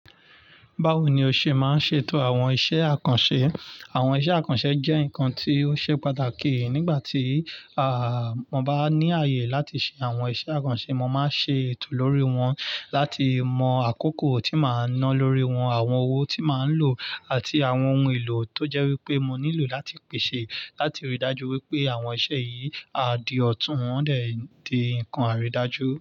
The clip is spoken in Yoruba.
Bawo ni o ṣe máa ṣe ètò àwọn iṣẹ́ àkànṣe? Àwọn iṣẹ́ àkànṣe jẹ́ nǹkan tí ó ṣe pàtàkì. Nígbà tí, aah, mo bá ní àyè láti ṣe àwọn iṣẹ́ àkànṣe, mo máa ṣe ètò lórí wọn láti mọ àkókò tí màá nán lórí wọn, àwọn owó tí màá lò àti àwọn ohun èlò tó jẹ́ wípé mo nílò láti pèsè láti rí i dájú wípé àwọn iṣẹ́ yìí á di ọ̀tún. Wọ́n dẹ̀ di nǹkan àrídájú.